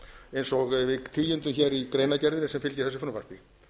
eins og við tíundum hér í greinargerðinni sem fylgir þessu frumvarpi